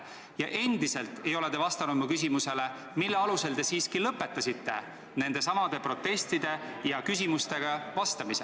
Ja endiselt ei ole te vastanud mu küsimusele, mille alusel te siiski lõpetasite nendelesamadele protestidele ja küsimustele vastamise.